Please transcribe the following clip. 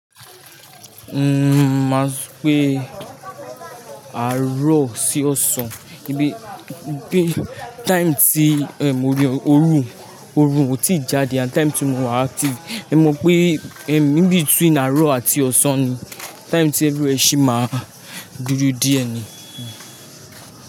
Umm ma sọ pé àárọ̀ sí ọ̀sán, bí i time tí òrùn kò tíì jáde àti time tí mo wà active, ẹ mọ pé in between àárọ̀ àti ọ̀sán ni time tí everywhere ṣi máa dúdú díẹ̀ ni.